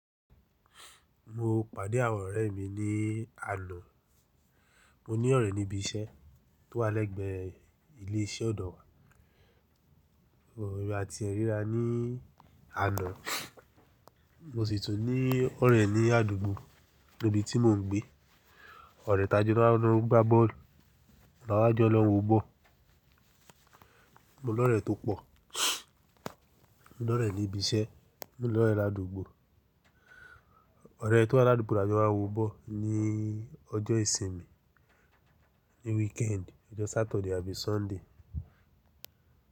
Mo pàdé àwọn ọ̀rẹ́ mi ní àná. Mo ní ọ̀rẹ́ ní ibi iṣẹ́ tó wà lẹ́gbẹ̀ẹ́ ilé iṣẹ́ ọ̀dọ̀ wa. But emi ati ẹ́ ríra ní àná. Mo sì tún ní ọ̀rẹ́ ní àdúgbò níbi tí mò ń gbé. Ọ̀rẹ́ tajọ́ náà ló ń gbá bọ́ọ̀lù. Ọ̀rẹ́ aláájọ ló ń wo bọ́ọ̀lù. Mo ní ọ̀rẹ́ tó pọ̀. Mo ní ọ̀rẹ́ ní ibi iṣẹ́, mo ní ọ̀rẹ́ làdúgbò. Ọ̀rẹ́ tó wà ní àdúgbò láti máa wọ bọ́ọ̀lù ní ọjọ́ ìsinmi, ní weekend, ọjọ́ Saturday àbí Sunday.